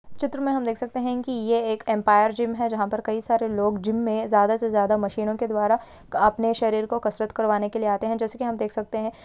इस चित्र में देख सकते है की ये एक एंपायर जिम है। जहाँ पर कई सारे लोग जिम में ज्यादा से ज्यादा मशीनों के द्वारा अपने शरीर को कसरत करवाने के लिए आते है जैसे की हम देख सकते है।